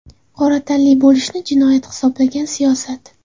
Qora tanli bo‘lishni jinoyat hisoblagan siyosat.